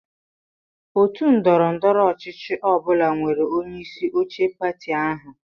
Otu ndọrọ ndọrọ ọchịchị ọ bụla nwere onyeisi oche pati ahụ.